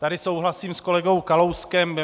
Tady souhlasím s kolegou Kalouskem.